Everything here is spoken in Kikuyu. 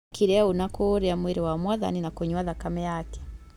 Mekire ũũ na kũũrĩa mwĩrĩ wa Mwathani na kũnyua thakame yake.